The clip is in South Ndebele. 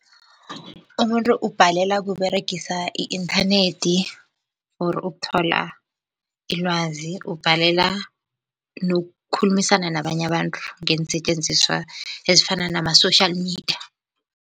Umuntu ubhalelwa kUberegisa i-inthanethi for ukuthola ilwazi. Ubhalelwa nokukhulumisana nabanye abantu ngeensetjenziswa ezifana nama-social media.